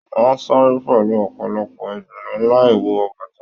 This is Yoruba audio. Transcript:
Wọn sáré pẹlú ọpọlọpọ ìdùnnú láì wọ bàtà.